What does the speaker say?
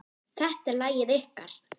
Þetta er lagið ykkar.